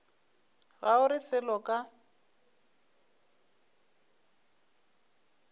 ga o re selo ka